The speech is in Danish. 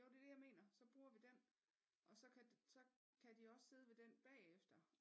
Jo det er det jeg mener så bruger vi den og så kan de også sidde ved den bagefter